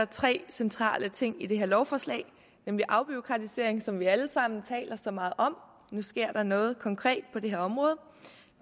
tre centrale ting i det her lovforslag nemlig afbureaukratisering som vi alle sammen taler så meget om nu sker der noget konkret på det her område